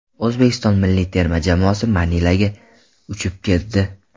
O‘zbekiston milliy terma jamoasi Manilaga uchib ketdi.